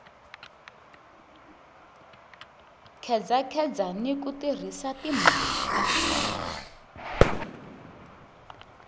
khedzakheza ni ku tirhisa timhaka